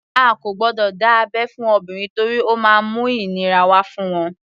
A kò gbọdọ̀ dá abẹ́ fún obìnrin torí ó má ń mú ìnira wá fún wọn.